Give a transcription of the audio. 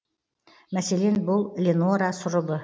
мәселен бұл ленора сұрыбы